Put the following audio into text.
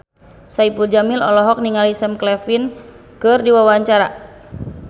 Saipul Jamil olohok ningali Sam Claflin keur diwawancara